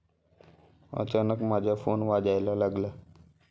अचानक माझा फोन वाजायला लागला.